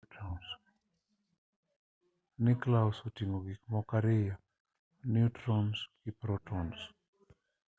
niuklias oting'o gik moko ariyo niutrons gi protons